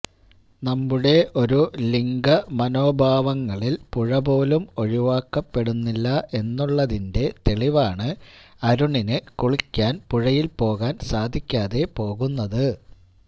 നമ്മുടെ ഒരു ലിംഗ മനോഭാവങ്ങളില് പുഴ പോലും ഒഴിവാക്കപ്പെടുന്നില്ല എന്നുള്ളതിന്റെ തെളിവാണ് അരുണിന് കുളിക്കുവാന് പുഴയില് പോകുവാന് സാധിക്കാതെ പോകുന്നത്